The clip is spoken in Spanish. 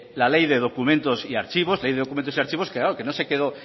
la ley de documentos y archivos la ley de documentos y archivos que no se quedó